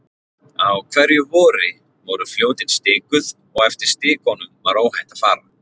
Á hverju vori voru Fljótin stikuð og eftir stikunum var óhætt að fara.